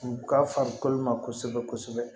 U ka farikolo ma kosɛbɛ kosɛbɛ